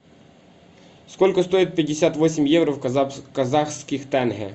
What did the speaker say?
сколько стоит пятьдесят восемь евро в казахских тенге